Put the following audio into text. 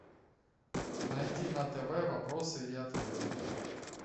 найди на тв вопросы и ответы